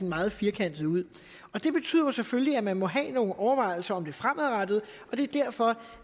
meget firkantet ud og det betyder jo selvfølgelig at man må have nogle overvejelser om det fremadrettede og det er derfor